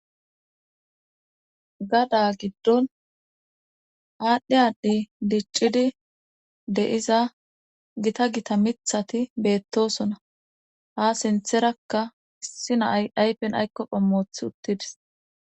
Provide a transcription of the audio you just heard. Gada gidon adhi adhi dicidi de'iza gita gita mithata de'osona ha sintharaka issi na'ay ayfen ayko qomo wothi uttides